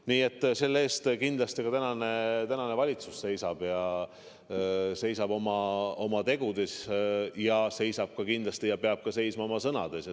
Nii et selle eest kindlasti ametis olev valitsus seisab – seisab oma tegudes ja peab kindlasti seisma ka sõnades.